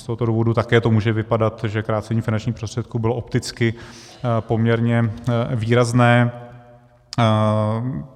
Z tohoto důvodu to také může vypadat, že krácení finančních prostředků bylo opticky poměrně výrazné.